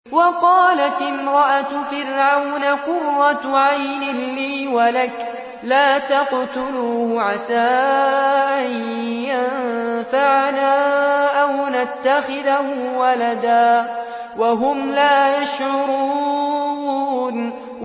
وَقَالَتِ امْرَأَتُ فِرْعَوْنَ قُرَّتُ عَيْنٍ لِّي وَلَكَ ۖ لَا تَقْتُلُوهُ عَسَىٰ أَن يَنفَعَنَا أَوْ نَتَّخِذَهُ وَلَدًا وَهُمْ لَا يَشْعُرُونَ